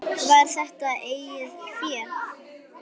Var þetta eigið fé?